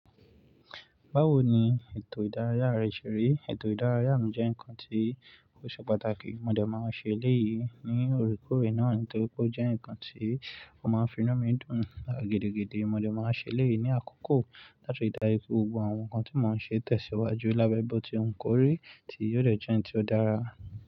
Báwo ni ètò ìdárayá rẹ ṣerí? Ètò ìdárayá mi jẹ́ ǹkan tí ó ṣe pàtàkì. Mo dẹ̀ máa ṣe eléyìí ní orúkọ rẹ̀ náà nítorí pé ó jẹ́ ǹkan tí ó máa ń finú mi dùn lára gidigidi. Mo dẹ̀ máa ṣe eléyìí ní àkókò láti dárayá gbogbo àwọn ǹkan tí mo ń ṣe tẹ̀síwájú lábẹ́ bó tí wù kórí tí yóò dẹ̀ jẹ́ ǹkan tí ó dára.